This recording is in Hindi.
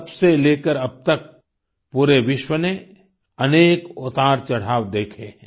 तब से लेकर अब तक पूरे विश्व ने अनेक उतारचढ़ाव देखे हैं